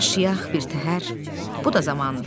Yaşayaq birtəhər, bu da zamandır.